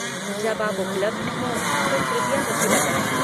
जब आप उपलब्ध हों तो कृपया मुझे बताएँ।